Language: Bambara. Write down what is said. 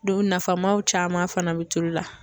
o nafamaw caman fana bɛ tulu la